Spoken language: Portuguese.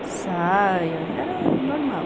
saia, era normal.